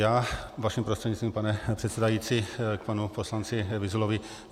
Já vaším prostřednictvím, pane předsedající, k panu poslanci Vyzulovi.